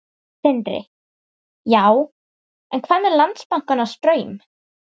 Sindri: Já, en hvað með Landsbankann og Straum?